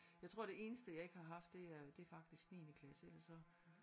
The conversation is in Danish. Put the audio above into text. Jeg tror det eneste jeg ikke har haft det er det er faktisk niendeklasse ellers så